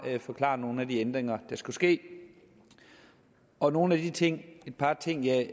forklaret nogle af de ændringer der skulle ske og nogle af de ting et par ting jeg